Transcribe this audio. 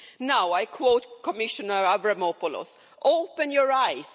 Now I quote Commissioner Avramopoulos Open your eyes'.